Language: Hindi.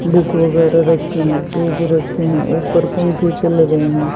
डेक वगैरा रखे हैं पेज रखे हैं ऊपर पंखे चल रहे हैं।